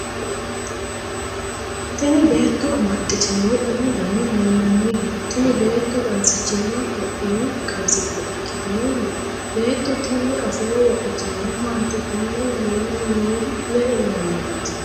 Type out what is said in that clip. tini beetto amaxxitinohu umu dani mayiinaniho? tini beetto qansichimma topiyu qansitte ikkitinoni? beetto tini afooho wodhitinori maati? konne leellanni nohu me''e mannaati?